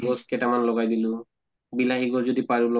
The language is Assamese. গছ কেইটামান লগাই দিলো, বিলাহি গছ যদি পাৰো